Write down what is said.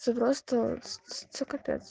це просто це капей